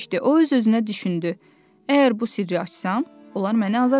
O öz-özünə düşündü: "Əgər bu sirri açsam, onlar məni azad eləyəcəklər."